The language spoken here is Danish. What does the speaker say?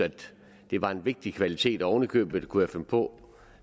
det var en vigtig kvalitet og oven i købet kunne jeg finde på